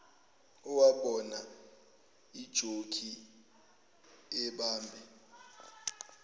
owabona ujokhi ebambe